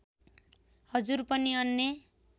हजुर पनि अन्य